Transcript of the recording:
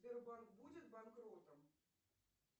сбербанк будет банкротом